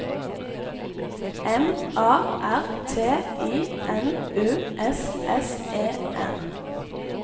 M A R T I N U S S E N